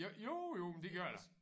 Ja jo jo men det gør det da